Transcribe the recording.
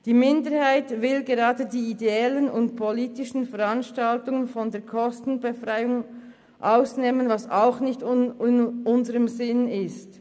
Die Minderheit will gerade die ideellen und politischen Veranstaltungen von der Kostenbefreiung ausnehmen, was auch nicht in unserem Sinn ist.